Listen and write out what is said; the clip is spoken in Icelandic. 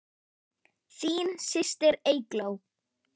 Þín systir, Eygló.